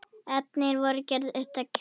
Efnin voru gerð upptæk.